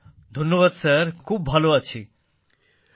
ধন্যবাদ স্যারখুব ভালো আছি স্যার